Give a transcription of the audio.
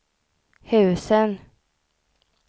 husen